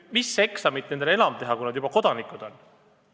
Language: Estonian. Mis eksamit nendel enam vaja teha on, kui nad juba kodanikud on?